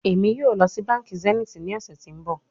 Emi yoo lọ si banki zenith ni ọsẹ ti n bọ